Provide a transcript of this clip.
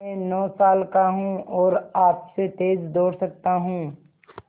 मैं नौ साल का हूँ और आपसे तेज़ दौड़ सकता हूँ